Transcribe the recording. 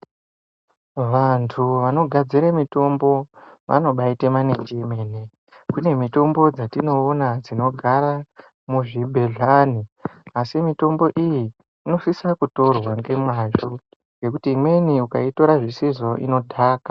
Vantu vanogadzira mutombo vanobayite manenji emene kune mitombo dzatinoona dzinogara muzvibhehleni asi mutombo iyi inosisa kutorwa ngemazvo nekuti imweni ukayitora zvisizvo inodhaka.